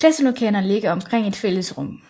Klasselokalerne ligger omkring et fælles rum